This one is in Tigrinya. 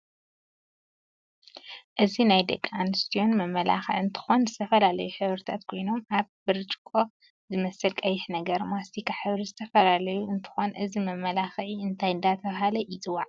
እዚ ናይ ደቂ ኣንስትዩን መመላክዒ እንትኮን ዝተፈላላዩ ሕብሪታት ኮይኖም ኣብ ብርጭቆ ዝመስል ቀይሕ ነገር፣ ማስትካ ሕብሪ ዝተፍላለዩ እንትኾን እዚ መማላክዕ እንታይ እዳተበሃለ ይፅዋዕ?